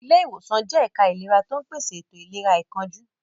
Ilé ìwòsàn jẹ́ ẹ̀ka ìlera tó ń pèsè ètò ìlera àìkánjú.